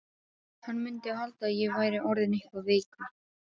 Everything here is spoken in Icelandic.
Hann mundi halda að ég væri orðinn eitthvað veikur.